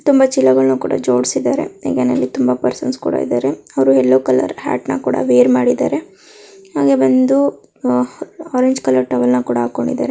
ತುಂಬಾ ಚಿಲಾಗಲ್ಲನ್ ಕೂಡ ಜೋಡ್ಸಿದಾರೆ ಹಾಗೇನೇ ಇಲ್ಲಿ ತುಂಬಾ ಪೆರ್ಸನ್ಸ್ ಕೂಡ ಇದಾರೆ ಅವ್ರು ಯಲ್ಲೋ ಕಲರ್ ಹಾಟ್ ನಾ ಕೂಡ ವೆರ್ ಮಾಡಿರೆ ಹಾಗೆ ಬಂದು ಆರೆಂಜ್ ಕಲರ್ ಟವೆಲ್ ಕೂಡ ಹಾಕೊಂಡಿದಾರೆ.